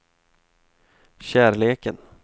kärleken